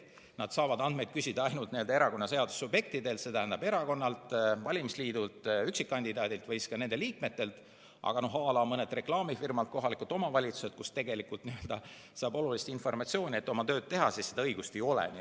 Nad saavad andmeid küsida ainult erakonnaseaduse subjektidelt, st erakonnalt, valimisliidult, üksikkandidaadilt või ka nende liikmetelt, aga à la mõni reklaamifirma ja kohalik omavalitsus, kust tegelikult saaks olulist informatsiooni, et oma tööd teha, õigust ei ole.